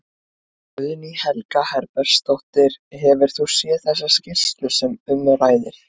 Guðný Helga Herbertsdóttir: Hefur þú séð þessa skýrslu sem um ræðir?